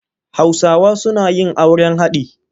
Hausawa suna yin auren haɗi.